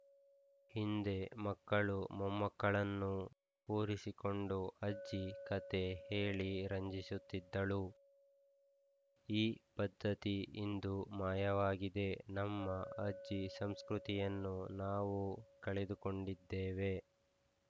ಹಿಂದೆ ಮಕ್ಕಳು ಮೊಮ್ಮಕ್ಕಳನ್ನು ಕೂರಿಸಿಕೊಂಡು ಅಜ್ಜಿ ಕಥೆ ಹೇಳಿ ರಂಜಿಸುತ್ತಿದ್ದಳು ಈ ಪದ್ಧತಿ ಇಂದು ಮಾಯವಾಗಿದೆ ನಮ್ಮ ಅಜ್ಜಿ ಸಂಸ್ಕೃತಿಯನ್ನು ನಾವು ಕಳೆದುಕೊಂಡಿದ್ದೇವೆ